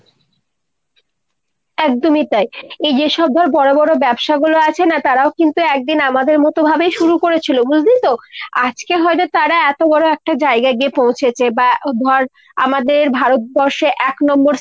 একদমই তাই। এই যেসব ধর বড়ো বড়ো ব্যবসাগুলো আছে না তারাও কিন্ত একদিন আমাদের মতো ভাবেই শুরু করেছিল বুঝলি তো ? আজকে হয়তো তারা এত বড়ো একটা জায়গায় গিয়ে পৌঁছেছে বা ধর আমাদের ভারতবর্ষের এক নম্বর